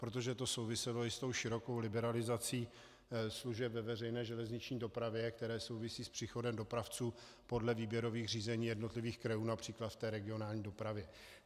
Protože to souviselo i s tou širokou liberalizací služeb ve veřejné železniční dopravě, které souvisí s příchodem dopravců podle výběrových řízení jednotlivých krajů například v té regionální dopravě.